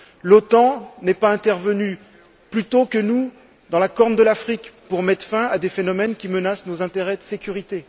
L'OTAN n'est pas intervenue plus tôt que nous dans la Corne de l'Afrique pour mettre fin à des phénomènes qui menacent nos intérêts de sécurité.